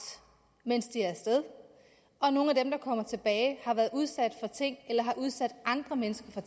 mens de er af sted og nogle af dem der kommer tilbage har været udsat for ting eller har udsat andre mennesker for